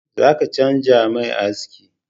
Zaka canja mai aski